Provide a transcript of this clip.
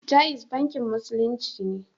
Jaiz bankin Musulunci ne.